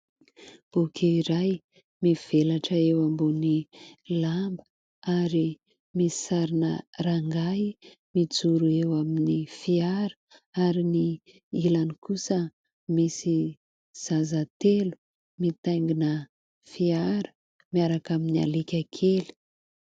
Boky iray mivelatra eo ambony lamba ary misy sarina rangahy mijoro eo amin'ny fiara ary ny ilany kosa misy zaza telo mitaingina fiara miaraka amin'ny alika kely.